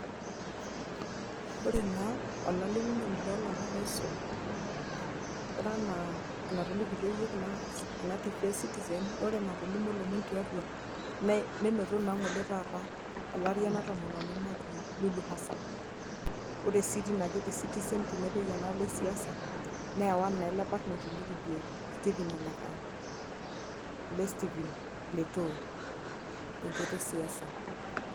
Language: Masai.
Ore naa olalimunoni loo lomom oisul, ore enaa tolikitio yiook ena citizen ore enaa etolimuo lomom tiatua nne nenoto naa lomon ngole taata tele aari ena tomononi naji Lulu hassana. Ore si teina kiti sitizen tenepuoi enaalo esiasa neewa naa ele mbarnoti oji likijo Stephen ole kaa ele stephen letoo te nchoto e siasa.